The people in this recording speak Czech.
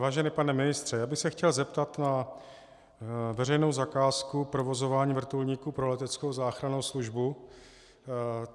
Vážený pane ministře, já bych se chtěl zeptat na veřejnou zakázku provozování vrtulníku pro Leteckou záchrannou službu.